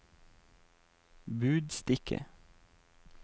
budstikke